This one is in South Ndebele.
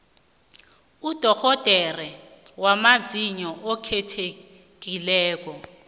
udorhodere wamazinyo okhethekileko